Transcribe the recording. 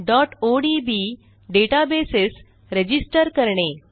odb databases register करणे